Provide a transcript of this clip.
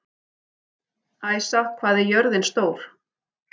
Æsa, hvað er jörðin stór?